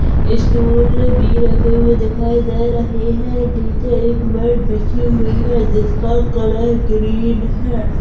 Stall भी रखे हुए दिखाई दे रहे है निचे एक बेड बिजी हुई है जिसका कलर ग्रीन है।